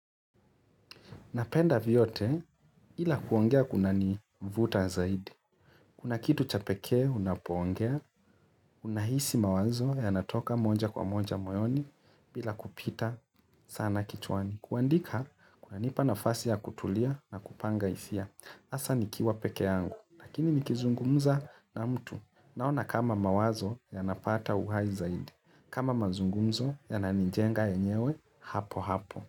Napenda vyote ila kuongea kunanivuta zaidi. Kuna kitu cha pekee unapoongea, unahisi mawazo yanatoka moja kwa moja moyoni bila kupita sana kichwani. Kuandika kunanipa nafasi ya kutulia na kupanga hisia. Hasa nikiwa peke yangu, lakini nikizungumza na mtu Naona kama mawazo yanapata uhai zaidi, kama mazungumzo yananijenga yenyewe hapo hapo.